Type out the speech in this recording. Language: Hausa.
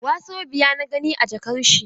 Wasobiya na gani a jakar shi.